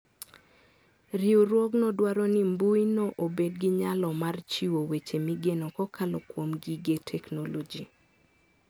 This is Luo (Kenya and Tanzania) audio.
Riwruogno dwaro nimbuino obed gi nyalo mar chiwo weche migeno kokalo kuom gige teknoloji.